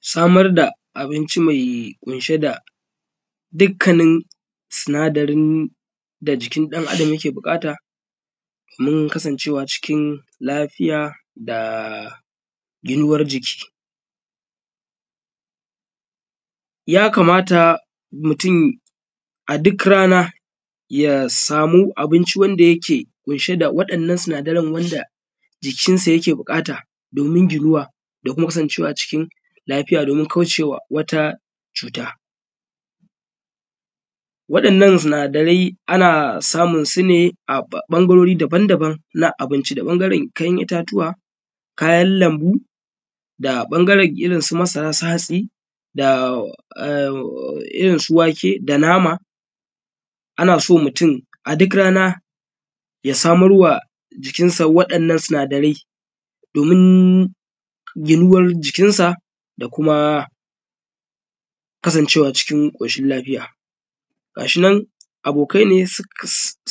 Samar da abinci mai kunshe da dikkanin sinadarin da jikin ɗan adam da yake buƙata, mun kasacewa cikin lafiya da yiyuwar jiki, ya kamata mutum a duk rana ya samu abincin da yake ƙunshe da waɗannan sinadaran wanda jikinsa yake buƙata, domin ginuwa da kuma kasancewa cikin lafiya, domin kaucewa wata cuta. Waɗannan sinadarai ana samun su ne a ɓangarori daban-daban na abinci: da ɓangaren kayan itatuwa, kayan lambu, da ɓangaren irin su masara, su hatsi, da irin su wake, da nama. Ana so mutum a duk rana ya samarwa jikinsa waɗannan sinadarai, domin yiyuwan jikinsa da kuma kasancewa cikin ƙoshin lafiya. Gashinan abokai ne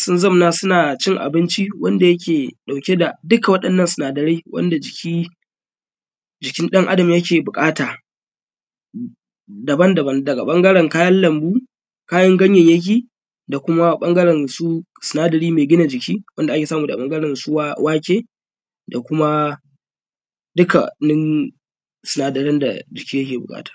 sun zanna suna cin abinci wanda yake ɗauke da duka waɗannan sinadarai wanda jikin ɗan adam yake buƙata daban-daban: daga ɓangaren kayan lambu, kayan ganyanyaki, da kuma ɓangaren su sinadari mai gina jiki, wanda ake samu daga ɓangaren su wake, da kuma dukannin sinadaran da jiki yake buƙata.